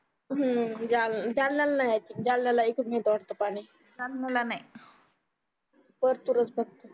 हम्म जालन्याला नाही जालन्याला इकडूनच मिळतो वाटते पाणी परतुरच फक्त